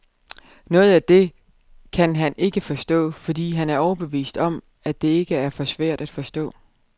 Noget af det kan han ikke forstå, fordi han er overbevist om, at det er for svært at forstå.